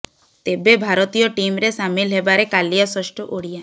ତେବେ ଭାରତୀୟ ଟିମରେ ସାମିଲ ହେବାରେ କାଲିଆ ଷଷ୍ଠ ଓଡିଆ